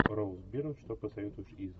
роуз бирн что посоветуешь из